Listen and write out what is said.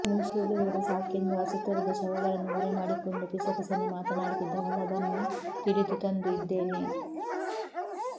ವುಸುರುಳಿದರೆ ಸಾಕೆಂದು ಅಸು ತೊರೆದ ಶವಗಳನ್ನು ಮರೆಮಾಡಿಕೊಂಡು ಪಿಸಪಿಸನೆ ಮಾತನಾಡುತ್ತಿದ್ದ ಹೊಲಬನ್ನು ತಿಳಿದು ತಂದು ಇದ್ದೇನೆ